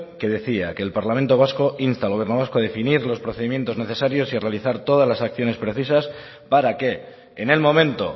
que decía que el parlamento vasco insta al gobierno vasco a definir los procedimientos necesarios y realizar todas las acciones precisas para que en el momento